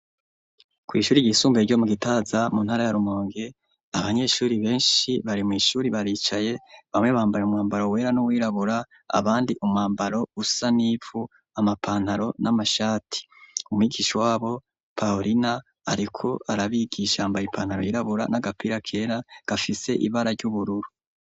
Kw'ishuri ryisumbuye ryo mu Gitaza, mu ntara ya Rumonge abanyeshuri benshi bari mu ishuri baricaye, bamwe bambaye umwambaro wera n'uwirabura abandi umwambaro usa n'ipfu amapantaro, n'amashati, umwigisha wabo Paulina ariko arabigishambaye ipantaro yirabura n'agapira kera gafise ibara ry'ubururu.